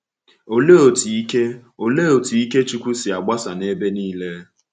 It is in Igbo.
Òlee otú ike Òlee otú ike Chukwu si agbasa n’ebe niile?